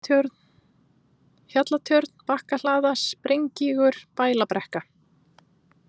Hjallatjörn, Bakkahlaða, Sprengígur, Bælabrekka